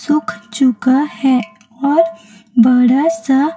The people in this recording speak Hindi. सूख चुका है और बड़ा सा--